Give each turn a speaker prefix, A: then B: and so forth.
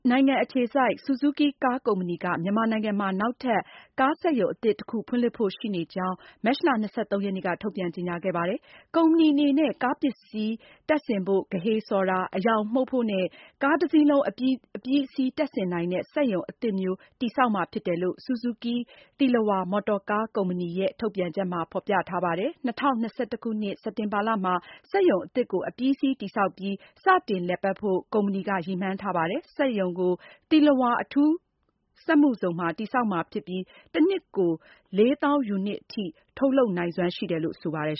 A: နိုင်ငံ အခြေစိုက် Suzuki ကားကုမ္ပဏီက မြန်မာနိုင်ငံမှာ နောက်ထပ် ကားစက်ရုံ အသစ်တခု ဖွင့်လှစ်ဖို့ရှိနေကြောင်း မတ်လ ၂၃ ရက်နေ့က ထုတ်ပြန်ကြေညာခဲ့ပါတယ်။ ကုမ္ပဏီအနေနဲ့ ကား ပစ္စည်းတင်ဆင်ဖို့ ဂဟေဆော်ပြီးဆက်တာ၊ အရောင်မှုတ်ဖို့နဲ့ ကားတစီးလုံးအပြီးအစီးတပ်ဆင်နိုင်တဲ့ စက်ရုံအသစ်မျိုး တည်ဆောက်မှာ ဖြစ်တယ်လို့ Suzuki သီလဝါ မော်တော်ကားကုမ္ပဏီရဲ့ ထုတ်ပြန်ချက်မှာ ဖေါ်ပြထားပါတယ်။ ၂၀၂၁ခုနှစ် စက်တင်ဘာလမှာ စက်ရုံအသစ်ကို အပြီးအစီးတည်ဆောက်ပြီး စတင်လည်ပတ်ဖို့ ကုမ္ပဏီက ရည်မှန်းထားပါတယ်။ စက်ရုံကို သီလဝါ အထူးစက်မှုဇုံမှာ တည်ဆောက်မှာဖြစ်ပြီး တနှစ်ကို ၄၀,၀၀၀ units အထိ ထုတ်လုပ်နိုင်စွမ်း ရှိတယ်လို့ ဆိုပါတယ်